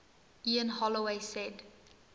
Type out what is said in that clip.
ian holloway said